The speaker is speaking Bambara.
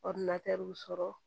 Ɔridinatɛriw sɔrɔ